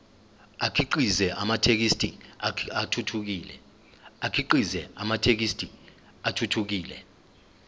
akhiqize amathekisthi athuthukile